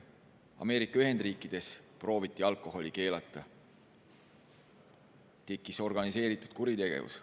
Ameerika Ühendriikides prooviti alkoholi keelata – tekkis organiseeritud kuritegevus.